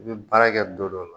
I bɛ baara kɛ dɔ dɔ